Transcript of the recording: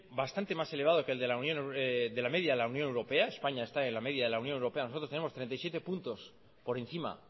bastante más elevado que la media de la unión europea españa está en la media de la unión europea nosotros tenemos treinta y siete puntos por encima